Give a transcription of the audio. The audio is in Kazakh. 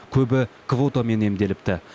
көбі квотамен емделіпті